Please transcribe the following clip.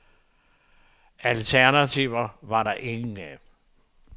Alternativer var der ingen af.